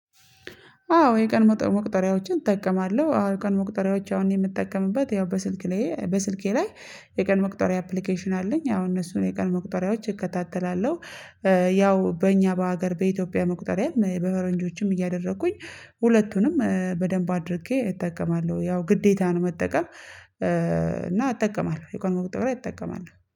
አዎ የቀን መቁጠሪያዎችን እጠቀማለሁ። አዎ የቀን መቁጠሪያዎች አሁን የምጠቀምበት ያው በስልክ ላይ በስልኬ ላይ የቀን መቁጠሪያ አፕሊኬሽን አለኝ አሁን እነሱን የቀን መቁጠሪያዎች እከታተላለሁ። ያው በእኛ በሀገር በኢትዮጵያ መቁጠሪያ በፈረንጆቹም እያደረኩኝ ሁለቱንም በደንብ አድርጌ እጠቀማለሁ። ያው ግዴታ ነው መጠቀም። እና አጠቀማለሁ የቀን መቁጠሪያ እጠቀማለሁ